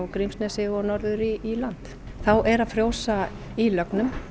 Grímsnesi og norður í land þá er að frjósa í lögnum